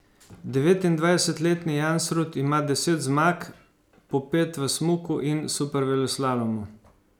Devetindvajsetletni Jansrud ima deset zmag, po pet v smuku in superveleslalomu.